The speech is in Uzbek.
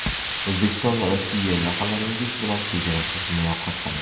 O‘zbekistonRossiya: Yaqinlaringiz bilan chegarasiz muloqot qiling!